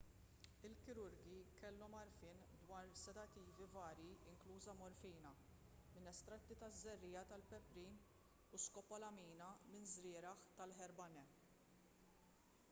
il-kirurgi kellhom għarfien dwar sedattivi varji inkluża morfina minn estratti taż-żerriegħa tal-peprin u skopolamina minn żrieragħ tal-herbane